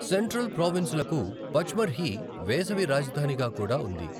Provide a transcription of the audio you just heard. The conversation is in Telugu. సెంట్రల్ ప్రావిన్సులకు పచ్మర్హి వేసవి రాజధానిగా కూడా ఉంది